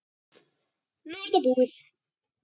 Nú er þetta búið.